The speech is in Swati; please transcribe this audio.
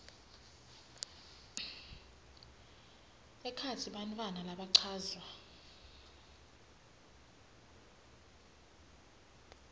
ekhatsi bantfwana labachazwa